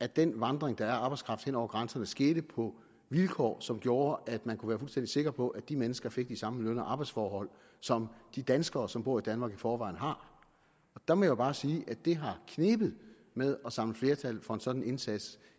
at den vandring der er af arbejdskraft hen over grænserne skete på vilkår som gjorde at man kunne være fuldstændig sikker på at de mennesker fik samme løn og arbejdsforhold som de danskere som bor i danmark i forvejen har der må jeg bare sige at det har knebet med at samle flertal for en sådan indsats